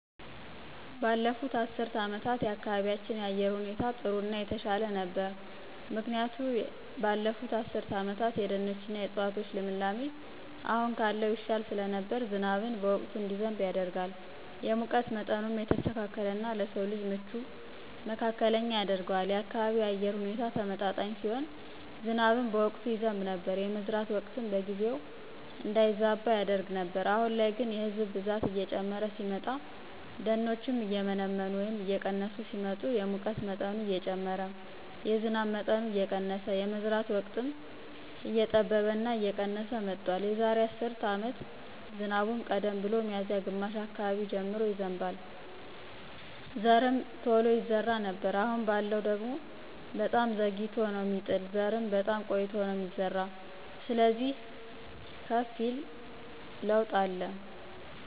ባለፉት አስርት አመታት የአካባቢያችን የአየር ሁኔታ ጥሩ እና የተሻለ ነበር ምክንያቱ የዛራ አስርት አመታት የደኖች እና የዕፅዋቶች ልምላሜ አሁን ካለው ይሻል ስለነበር ዝናብን በወቅቱ እንዲዘንብ ያደርጋል፣ የሙቀት ምጠኑም የተስተካከለ እና ለስው ልጅ ምቹ መካከለኛ ያደርገዋል፣ የአካባቢው የአየር ሁኔታ ተመጣጣኝ ሲሆን ዝናብም በወቅቱ ይዘብ ነበር፣ የመዝራት ወቅትም በጊዜው እንዳይዛባ ያደርግ ነበር። አሁን ላይ ግን የህዝብ ብዛት እየጨመረ ሲመጣ፣ ደኖችም እየመነመኑ ወይም እየቀነሱ ሲመጡ የሙቀት መጠኑ እየጨመረ የዝናብ መጠኑ እየቀነስ የመዝራት ወቅትም እየጠበበ እና የቀነስ መጥቷል። የዛሬ አስር አመት ዝናቡም ቀደም ብሎ ሚዚያ ግማሽ አካባቢ ጀምሮ ይዘንባል ዘርምቶሎ ይዘራ ነበር አሁን ባለው ደግሞ በጣም ዘግይቶ ነው ሚጥል ዘርም በጣም ቆይቶ ነው ሚዘራ ስለዚህ ከፍ ይል ለውጥ አለ።